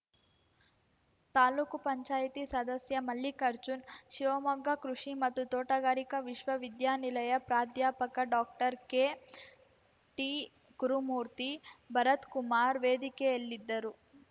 ತಾಲೂಕುಪಂಚಾಯ್ತಿ ಸದಸ್ಯ ಮಲ್ಲಿಕಾರ್ಜುನ್‌ ಶಿವಮೊಗ್ಗ ಕೃಷಿ ಮತ್ತು ತೋಟಗಾರಿಕಾ ವಿಶ್ವ ವಿದ್ಯಾನಿಲಯ ಪ್ರಾಧ್ಯಾಪಕ ಡಾಕ್ಟರ್ಕೆಟಿಗುರುಮೂರ್ತಿ ಭರತ್‌ಕುಮಾರ್‌ ವೇದಿಕೆಯಲ್ಲಿದ್ದರು